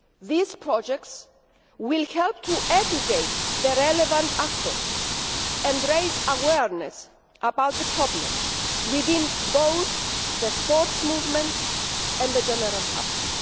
These projects will help to educate the relevant actors and raise awareness about the problem within both the sports movement and the general public.